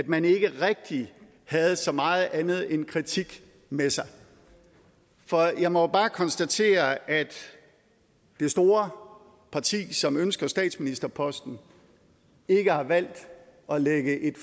man ikke rigtig havde så meget andet end kritik med sig for jeg må bare konstatere at det store parti som ønsker statsministerposten ikke har valgt at lægge et